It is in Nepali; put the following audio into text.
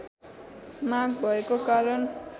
माँग भएको कारण